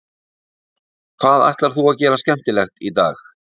Hvað ætlar þú að gera skemmtilegt í dag?